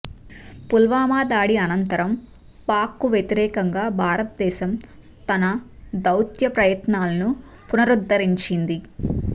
పుల్వామా దాడి అనంతరం పాక్కు వ్యతిరేకంగా భారతదేశం తన దౌత్య ప్రయత్నాలను పునరుద్ధరించింది